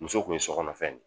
Muso tun ye sokɔnɔ fɛn de ye!